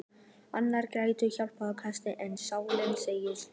Nárinn grætur, hjartað hikstar en sálin segir halelúja.